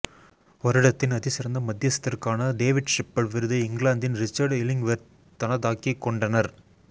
வருடத்தின் அதிசிறந்த மத்தியஸ்தருக்கான டேவிட் ஷெப்பர்ட் விருதை இங்கிலாந்தின் ரிச்சர்ட் இலிங்வேர்த் தனதாக்கிக்கொண்டனர்